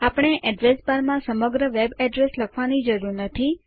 આપણે address bar માં સમગ્ર વેબઅડ્રેસ લખવાની જરૂર નથી